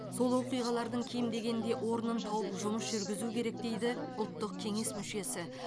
сол оқиғалардың кем дегенде орнын тауып жұмыс жүргізу керек дейді ұлттық кеңес мүшесі